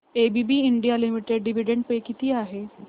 ABB India limited dividend pay किती आहे